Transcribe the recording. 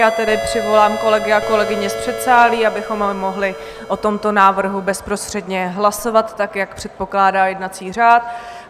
Já tedy přivolám kolegy a kolegyně z předsálí, abychom mohli o tomto návrhu bezprostředně hlasovat, tak jak předpokládá jednací řád.